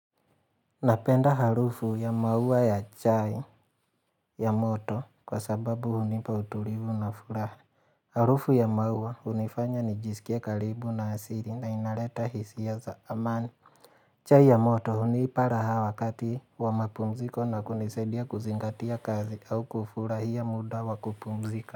Napenda harufu ya maua ya chai ya moto kwa sababu hunipa utulivu na furaha. Harufu ya maua hunifanya nijisikie karibu na asiri na inaleta hisia za amani. Chai ya moto hunipa raha wakati wa mapumziko na kunisaidia kuzingatia kazi au kufurahia muda wa kupumzika.